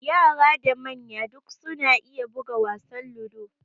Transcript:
Yara da manya duk suna iya buga wasan ludo.